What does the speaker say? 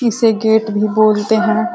इसे गेट भी बोलते हैं।